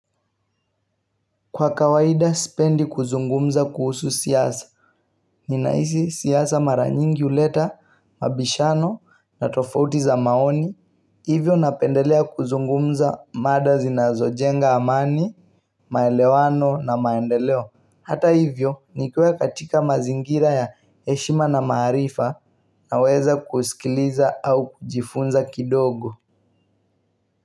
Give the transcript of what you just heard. Kwa kawaida sipendi kuzungumza kuhusu siasa Nina hisi siasa mara nyingi huleta mabishano na tofauti za maoni Hivyo napendelea kuzungumza mada zinazo jenga amani maelewano na maendeleo Hata hivyo nikiwa katika mazingira ya heshima na maarifa naweza kusikiliza au kujifunza kidogo.